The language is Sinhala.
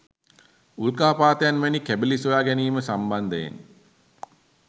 උල්කාපාතයන් වැනි කැබැලි සොයා ගැනීම සම්බන්ධයෙන්